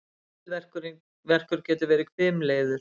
Höfuðverkur getur verið hvimleiður.